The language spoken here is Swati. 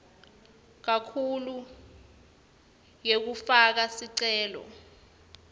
kakhulu yekufaka sicelo